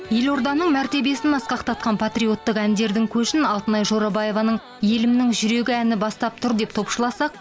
елорданың мәртебесін асқақтатқан патриоттық әндердің көшін алтынай жорабаеваның елімнің жүрегі әні бастап тұр деп топшыласақ